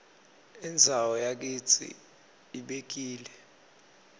indzawo yakitsi ibekile